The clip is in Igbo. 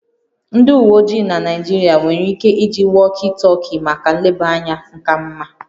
Ndị uwe ojii na Naịjirịa nwere ike iji walkie talkie maka nlebanya ka mma